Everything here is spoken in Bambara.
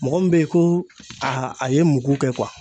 Mɔgɔ min bɛ ye ko a a ye mugu kɛ.